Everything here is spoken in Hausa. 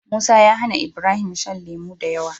Musa ya hAna Ibrahim shan lemo dayawa